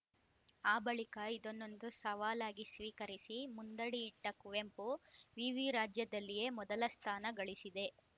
ಆ ಬಳಿಕ ಇದನ್ನೊಂತು ಸವಾಲಾಗಿ ಸ್ವೀಕರಿಸಿ ಮುಂದಡಿಯಿಟ್ಟಕುವೆಂಪು ವಿವಿ ರಾಜ್ಯದಲ್ಲಿಯೇ ಮೊದಲ ಸ್ಥಾನ ಗಳಿಸಿದೆ